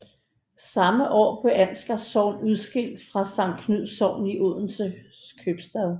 Samme år blev Ansgars Sogn udskilt fra Sankt Knuds Sogn i Odense Købstad